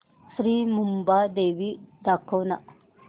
श्री मुंबादेवी दाखव ना